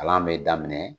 Kalan bɛ daminɛ